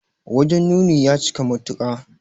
Wajen nuni ya cika matuka.